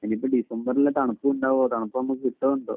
ഇനിയിപ്പോ ഡിസംബറിലെ തണുപ്പും ഉണ്ടാവും. തണുപ്പ് നമുക്ക് കിട്ടുവോ എന്തോ